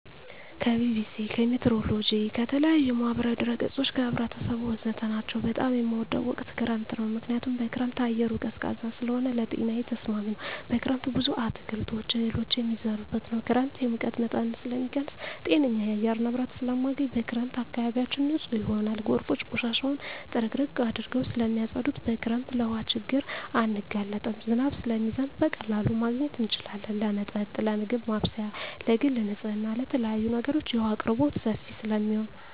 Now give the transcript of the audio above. ከቢቢሲ, ከሜትሮሎጅ, ከተለያዪ የማህበራዊ ድረ ገፆች , ከህብረተሰቡ ወዘተ ናቸው። በጣም የምወደው ወቅት ክረምት ነው ምክንያቱም በክረምት አየሩ ቀዝቃዛ ስለሆነ ለጤናዬ ተስማሚ ነው። በክረምት ብዙ አትክልቶች እህሎች የሚዘሩበት ነው። ክረምት የሙቀት መጠንን ስለሚቀንስ ጤነኛ የአየር ንብረት ስለማገኝ። በክረምት አካባቢያችን ንፁህ ይሆናል ጎርፎች ቆሻሻውን ጥርግርግ አድርገው ስለማፀዱት። በክረምት ለውሀ ችግር አንጋለጥም ዝናብ ስለሚዘንብ በቀላሉ ማግኘት እንችላለን ለመጠጥ ለምግብ ማብሰያ ለግል ንፅህና ለተለያዪ ነገሮች የውሀ አቅርቦት ሰፊ ስለሚሆን።